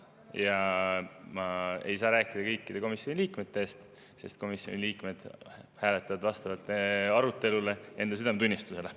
Ja ma ei saa rääkida kõikide komisjoni liikmete eest, sest komisjoni liikmed hääletavad vastavalt arutelule ja enda südametunnistusele.